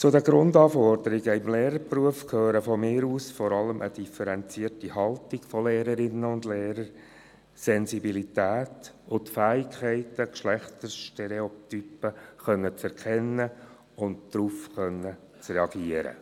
Zu den Grundanforderungen des Lehrerberufs gehören meines Erachtens vor allem eine differenzierte Haltung von Lehrerinnen und Lehrern, Sensibilität und die Fähigkeit, Geschlechterstereotypen zu erkennen und darauf zu reagieren.